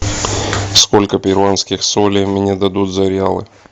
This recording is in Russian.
сколько перуанских солей мне дадут за реалы